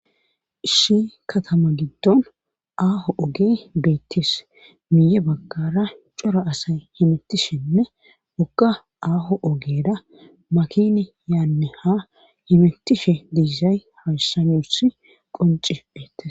Issi katama giddon aaho oge beettis miye baggara cora asay himetishenne ogka aaho ogera makini yaanne ha himetishe deizay hassanusi qonci beettes